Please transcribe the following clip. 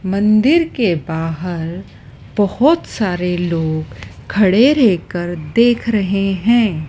मंदिर के बाहर बहोत सारे लोग खड़े रह कर देख रहे है।